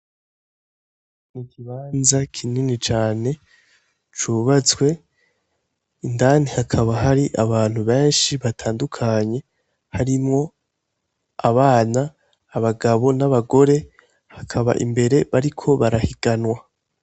Ikibanza kinini cane cubatswe, indani hakaba hari abantu benshi batandukanye harimwo abana, abagabo n'abagore hakaba imbere bariko barahiganwa.